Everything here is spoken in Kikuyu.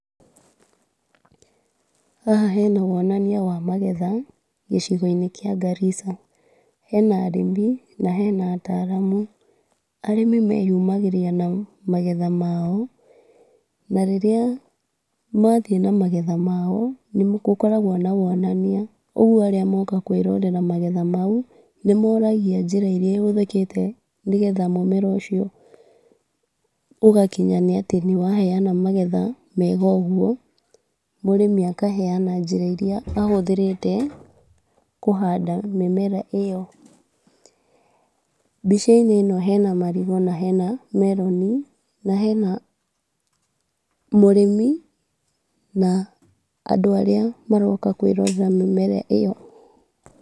Haha hena wonania wa magetha gĩcigo-inĩ kĩa Garissa. Hena arĩmi na hena ataramu. Arĩmi meyumagĩria na magetha mao na rĩrĩa mathiĩ na magetha mao nĩgũkoragwo na wonania ũguo arĩa moka kwĩrorera magetha mau nĩmoragia njĩra iria ihũthĩkĩte nĩgetha mũmera ũcio ũgakinya atĩ nĩwaheyana magetha mega ũguo. Mũrĩmi akaheyana njĩra iria ahũthĩrĩte kũhanda mĩmera ĩyo. Mbica-inĩ ĩno hena marigũ na hena meroni na hena mũrĩmi na andũ arĩa maroka kwĩrorera mĩmera ĩyo.